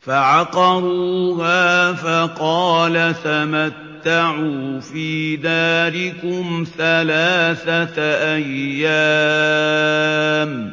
فَعَقَرُوهَا فَقَالَ تَمَتَّعُوا فِي دَارِكُمْ ثَلَاثَةَ أَيَّامٍ ۖ